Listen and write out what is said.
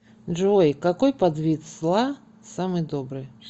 джой какой подвид зла самый добрый